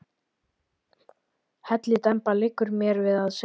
Hellidemba, liggur mér við að segja.